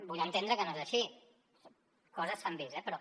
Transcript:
vull entendre que no és així coses s’han vist eh però